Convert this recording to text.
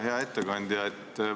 Hea ettekandja!